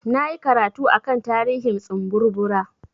Na yi karatu a kan tarihin tsumburbura.